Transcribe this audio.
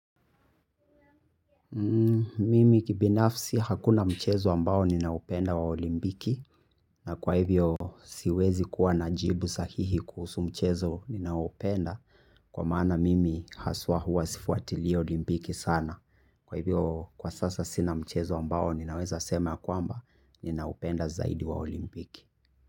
Mimi kibinafsi hakuna mchezo ambao ninaupenda wa olimpiki. Na kwa hivyo siwezi kuwa na jibu sahihi kuhusu mchezo ninaoupenda, kwa maana mimi haswa huwa sifuatili Olimpiki sana. Kwa hivyo kwa sasa sina mchezo ambao ninaweza sema ya kwamba ninaupenda zaidi wa olimpiki.